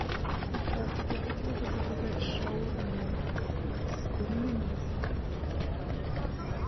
здравствуйте хотела бы заказать шаурму с куриным мясом